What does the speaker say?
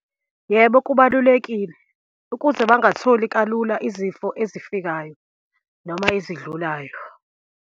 Yebo, kubalulekile ukuze bangatholi kalula izifo ezifikayo, noma ezidlulayo.